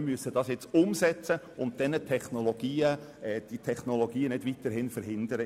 Jetzt gilt es zur Umsetzung überzugehen und die Technologien auf diese Weise nicht weiter zu verhindern.